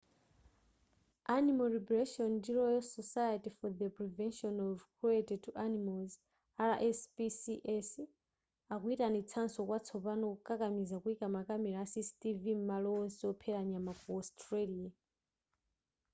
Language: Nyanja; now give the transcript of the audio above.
animal liberation ndi royal society for the prevention of cruelty to animals rspcs akuyitanitsanso kwatsopano kukakamiza kuyika makamera a cctv m'malo onse ophera nyama ku australia